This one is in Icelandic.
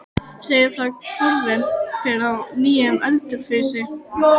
segja frá horfnum hver og nýjum í Ölfusi.